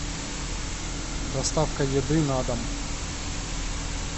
доставка еды на дом